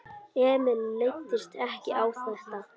Emil leist ekki á þetta.